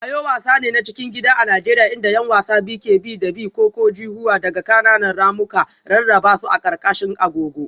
Ayo wasa ne na cikin gida a Najeriya inda 'yan wasa biyu ke bi da bi. -ko-ko-ji-huwa daga ƙananan ramuka, rarraba su a ƙarƙashin agogo.